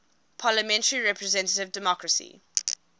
parliamentary representative democracy